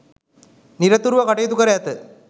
නිරතුරුව කටයුතු කර ඇත.